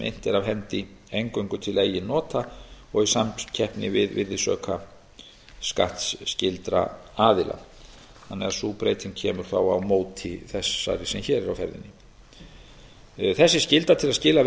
er af hendi eingöngu til eigin nota og í samkeppni við virðisaukaskattsskylda aðila sú breyting kemur þá á móti þessari sem hér er á ferðinni þessi skylda til að skila